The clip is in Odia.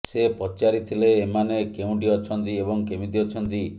ସେ ପଚାରିଥିଲେ ଏମାନେ କେଉଁଠି ଅଛନ୍ତି ଏବଂ କେମିତି ଅଛନ୍ତି